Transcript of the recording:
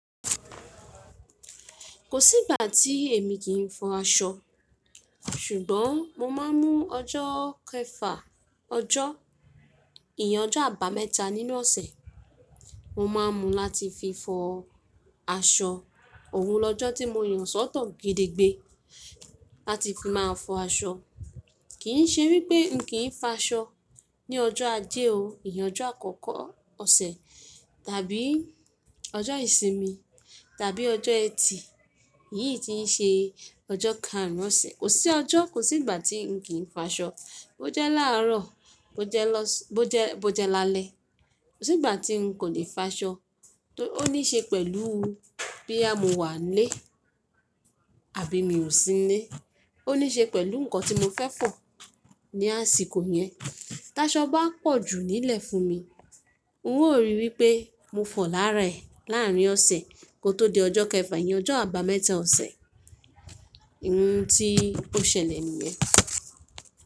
Kò sí ìgbà tí èmi kì í fọ aṣọ. Ṣùgbọ́n mo máa ń mú ọjọ́ kẹfà, ọjọ́ ìyen ojo àbámẹ́ta nínú ọ̀sẹ̀, mo máa ń mu láti fi fọ aṣọ. Òun lọ́jọ́ tí mo yàn sọ́tọ̀ gede gbé láti fi máa fọ aṣọ. Kì í ṣe wípé mi kì í fo aṣọ ní ọjọ́ ajé o, ìyẹn ọjọ́ àkọ́kọ́ ọ̀sẹ̀ tàbí ọjọ́ ìsinmi tàbí ọjọ́ ẹtì, èyí tí í ṣe ọjọ́ karùn-ún ọ̀sẹ̀. Kò sí ọjọ́, kò sí ìgbà tí n kì í fo aṣọ. Bo jẹ́ láàárọ̀, bo jẹ́ lọ s-- bo jẹ́, bo jẹ́ lálẹ́, kò sí ìgbà tí n kò lè fo aṣọ. Ó ní ṣe pẹ̀lú boyà mo wà nílé àbí mi ò sí nílé. Ó ní ṣe pẹ̀lú nǹkan tí mo fẹ́ fọ̀ ní àsìkò yẹn. Táṣọ bá pọ̀ jù nílẹ̀ fún mi, n ó rí wípé mo fọ̀ láàárẹ̀, láàárín ọ̀sẹ̀, kó tó di ọjọ́ kẹfà, ìyẹn ọjọ́ àbámẹ́ta ọ̀sẹ̀. Ohun tí ó ṣẹlẹ̀ nìyẹn.